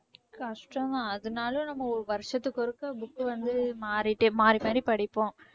கஷ்டம் தான் அதனாலயே நம்ம வருஷத்துக்கு ஒருக்கா book வந்து மாறிட்டு மாறி மாறி படிப்போம்